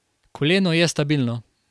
Koleno je stabilno.